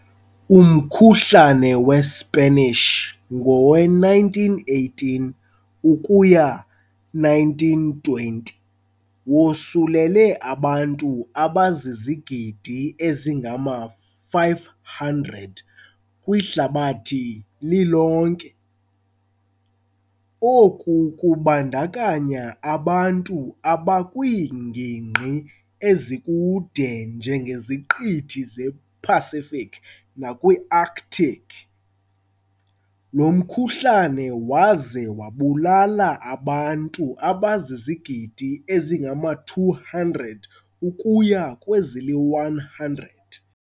Umkhuhlane weSpanish, ngowe-1918 ukuya 1920, wosulele abantu abazizigidi ezingama-500 kwihlabathi lilonke, oku kubandakanya abantu abakwiingingqi ezikude njengeziQithi zePacific nakwiArctic, lo mkhuhlane waze wabulala abantu abazizigidi ezingama-200 ukuya kwezili-100.